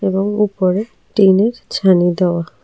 এবং উপরে টিনের ছাউনি দেওয়া।